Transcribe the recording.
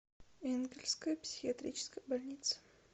энгельсская психиатрическая больница